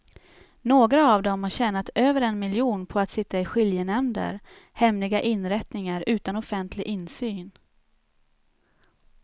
Några av dem har tjänat över en miljon på att sitta i skiljenämnder, hemliga inrättningar utan offentlig insyn.